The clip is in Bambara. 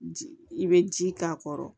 I bɛ ji k'a kɔrɔ